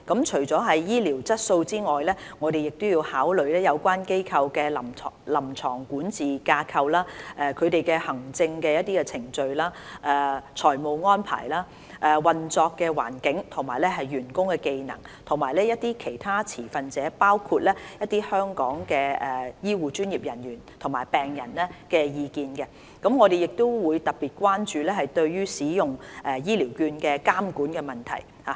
除了醫療質素外，我們亦要考慮有關機構的臨床管治架構、行政程序、財務安排、運作環境及員工技能，以及其他持份者的意見。我們亦特別關注對於使用醫療券的監管問題。